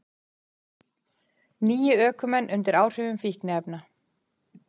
Níu ökumenn undir áhrifum fíkniefna